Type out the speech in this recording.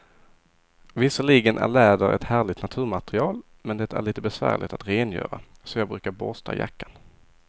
Visserligen är läder ett härligt naturmaterial, men det är lite besvärligt att rengöra, så jag brukar borsta jackan.